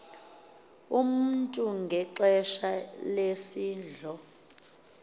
umntu ngexesha lesidlo